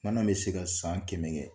Mana bɛ se ka san kɛmɛ kɛ.